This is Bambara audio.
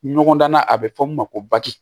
Ɲɔgɔndan na a bɛ fɔ mun ma ko bati